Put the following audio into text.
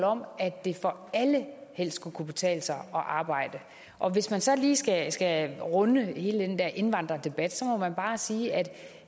om at det for alle helst skulle kunne betale sig at arbejde og hvis man så lige skal skal runde hele den der indvandrerdebat må man bare sige at